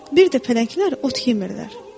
Bir də pələnglər ot yemirlər.